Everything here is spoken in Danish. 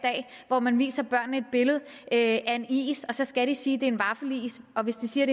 hvor man viser børnene et billede af en is og så skal de sige at det er en vaffelis og hvis de siger at